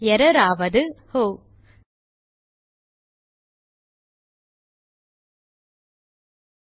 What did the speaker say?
error ஆவது ஒஹ்